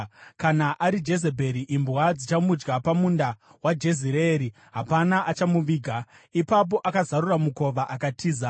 Kana ari Jezebheri, imbwa dzichamudya pamunda weJezireeri, hapana achamuviga.’ ” Ipapo akazarura mukova akatiza.